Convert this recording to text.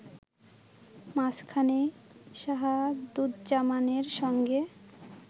মাঝখানে শাহাদুজ্জামানের সঙ্গে